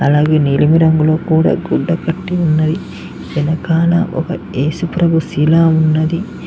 అలాగే నీలమ రంగులో కూడా గుడ్డ కట్టి ఉన్నవి వెనకాల ఒక ఏసుప్రభూ శిలా ఉన్నది.